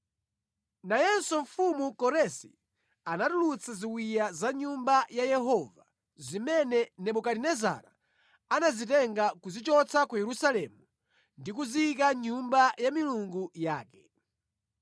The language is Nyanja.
Nayenso mfumu Koresi anatulutsa ziwiya za mʼNyumba ya Yehova zimene Nebukadinezara anazitenga kuzichotsa ku Yerusalemu ndi kuziyika mʼnyumba ya milungu yake.